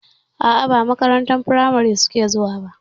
A'a ba makarantar firamari suke zuwa ba.